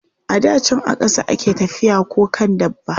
A da can a ƙasa a ke tafiya ko kan dabba.